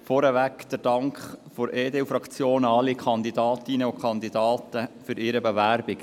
Vorweg der Dank der EDU-Fraktion an alle Kandidatinnen und Kandidaten für ihre Bewerbung;